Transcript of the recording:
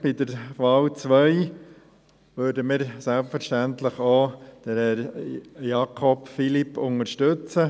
Bei der zweiten Wahl unterstützen wir selbstverständlich auch Herrn Philippe Jakob.